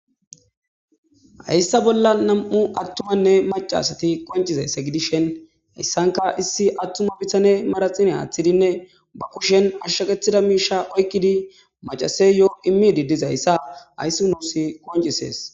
Hayssa bolla nam'u attumanne macasati qoncizayssa gidishen hayssanka issi attuma bitane maraxin haaththidinne bakushen ashshaqethida miisha oykkidi macase yo'o immididizayssa hayssi nuussi qoncisees.